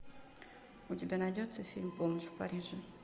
у тебя найдется фильм полночь в париже